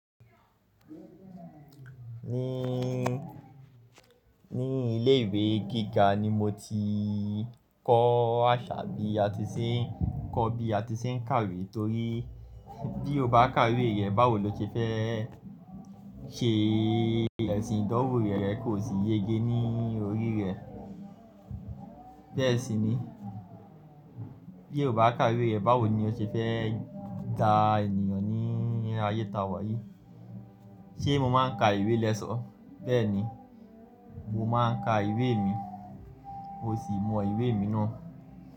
Ní, ní ilé ìwé gíga ni mo ti kọ́ àṣà bí a ti ṣe ń, kọ́ bí a ti ṣe ń kàwé, torí bí o bá kàwé rẹ, báwo lo ti fẹ́ ṣe ẹ̀sìn ìdánwò rẹ, rẹ kò sì yege ní orí rẹ. Bẹ́ẹ̀ sì ni bí o bá kàwé rẹ, báwo ni o ṣe fẹ́ da ènìyàn ní ayé ta wà yìí. Ṣé mo máa ń ka ìwé lẹ́ sọ̀ọ́? Bẹ́ẹ̀ni, mo máa ń ka ìwé mi, mo sì mọ ìwé mi náà.